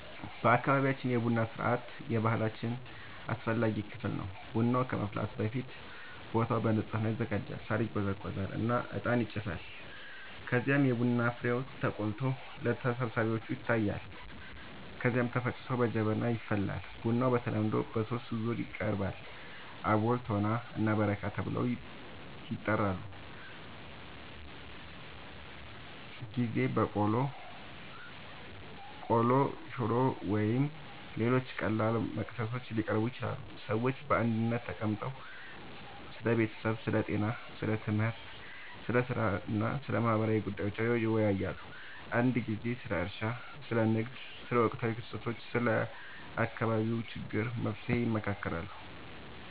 በአካባቢያችን የቡና ሥርዓት የባህላችን አስፈላጊ ክፍል ነው። ቡናው ከመፍላቱ በፊት ቦታው በንጽህና ይዘጋጃል፣ ሳር ይጎዘጎዛል እና እጣን ይጨሳል። ከዚያም የቡና ፍሬው ተቆልቶ ለተሰብሳቢዎች ይታያል፣ ከዚያ ተፈጭቶ በጀበና ይፈላል። ቡናው በተለምዶ በሦስት ዙር ይቀርባል፤ አቦል፣ ቶና እና በረካ ተብለው ይጠራሉበ ጊዜ በቆሎ፣ ቆሎ፣ ሽሮ ወይም ሌሎች ቀላል መክሰሶች ሊቀርቡ ይችላሉ። ሰዎች በአንድነት ተቀምጠው ስለ ቤተሰብ፣ ስለ ጤና፣ ስለ ትምህርት፣ ስለ ሥራ እና ስለ ማህበረሰቡ ጉዳዮች ይወያያሉ። አንዳንድ ጊዜ ስለ እርሻ፣ ስለ ንግድ፣ ስለ ወቅታዊ ክስተቶች እና ስለ አካባቢው ችግሮች መፍትሔ ይመካከራሉ